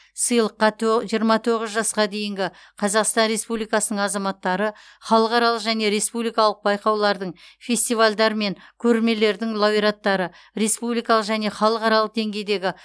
сыйлыққа тө жиырма тоғыз жасқа дейінгі қазақстан республикасының азаматтары халықаралық және республикалық байқаулардың фестивальдар мен көрмелердің лауреаттары республикалық және халықаралық деңгейдегі